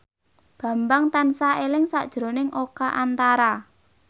Bambang tansah eling sakjroning Oka Antara